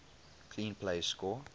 clean plays score